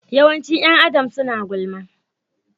Yawancin ’yan Adam suna gulma.